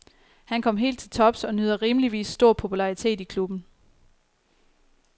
Han kom helt til tops og nyder rimeligvis stor popularitet i klubben.